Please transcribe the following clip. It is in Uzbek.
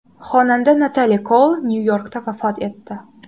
Xonanda Natali Koul Nyu-Yorkda vafot etdi.